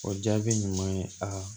O jaabi ɲuman ye aa